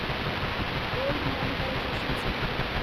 gold monetisation scheme